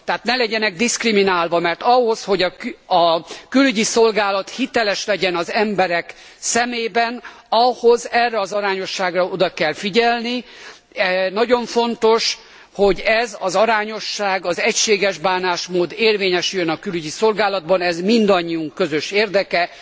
Tehát ne legyenek diszkriminálva, mert ahhoz, hogy a külügyi szolgálat hiteles legyen az emberek szemében, ahhoz erre az arányosságra oda kell figyelni. Nagyon fontos, hogy ez az arányosság az egységes bánásmód érvényesüljön a külügyi szolgálatban. Ez mindannyiunk közös érdeke.